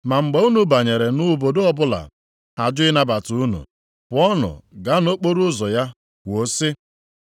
Ma mgbe unu banyere nʼobodo ọbụla ha jụ ịnabata unu, pụọnụ gaa nʼokporoụzọ ya kwuo sị,